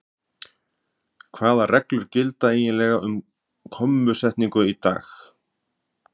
Hvaða reglur gilda eiginlega um kommusetningu í dag?